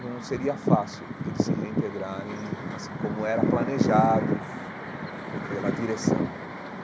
não seria fácil eles se reintegrarem assim como era planejado pela direção.